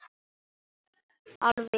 Alveg glás.